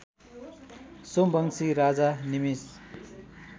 सोमवंशी राजा निमिष